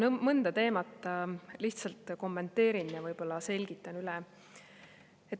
Ma mõnda teemat lihtsalt kommenteerin ja võib-olla selgitan üle.